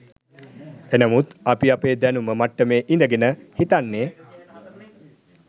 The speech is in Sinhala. එනමුත් අපි අපේ දැනුම මට්ටමේ ඉඳගෙන හිතන්නෙ